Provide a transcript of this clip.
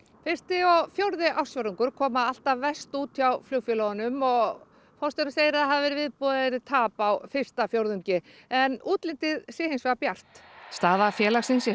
fyrsti og fjórði ársfjórðungur koma alltaf verst út hjá flugfélögunum og forstjórinn segir að það hafi verið viðbúið að það yrði tap á fyrsta fjórðungi en útlitið sé hins vegar bjart staða félagsins sé